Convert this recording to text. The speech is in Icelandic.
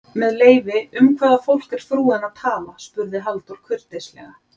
Með leyfi, um hvaða fólk er frúin að tala? spurði Halldór kurteislega.